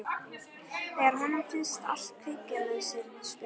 Þegar honum finnst allt kveikja með sér spurningar.